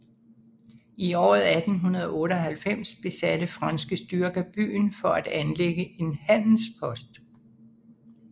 I året 1898 besatte franske styrker byen for at anlægge en handelspost